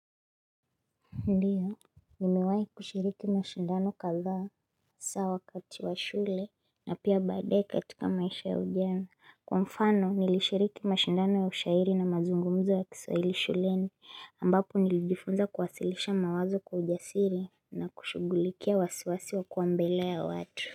Ndiyo, nimewai kushiriki na shindano kadhaa, saa wakati wa shule, na pia badai katika maisha ya ujana, kwa mfano nilishiriki mashindano ya ushairi na mazungumzo ya kiswaili shuleni, ambapo nilijifunza kwasilisha mawazo kujasiri na kushugulikia wasiwasi wa kuambele ya watu.